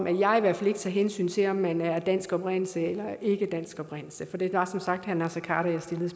jeg i hvert fald ikke tager hensyn til om man er af dansk oprindelse eller af ikkedansk oprindelse for det var som sagt herre naser khader jeg stillede